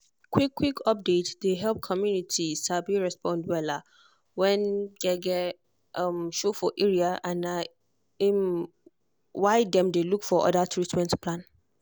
quick-quick update dey help community um respond wella when gbege um show for area and na um why dem dey look for other treatment plan.